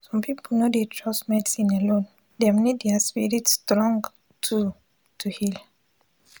some people no dey trust medicine alone dem need their spirit strong too to heal